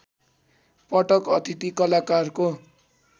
पटक अतिथि कलाकारको